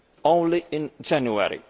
only in January.